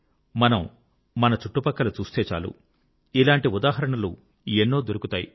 మనం మన చుట్టుపక్కల చూస్తే చాలు ఇలాంటి ఉదాహరణలు ఎన్నో దొరుకుతాయి